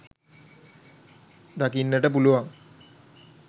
දකින්නට පුළුවන්